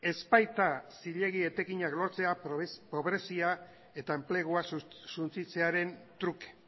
ez baita zilegi etekinak lortzea pobrezia eta enplegua suntsitzearen truke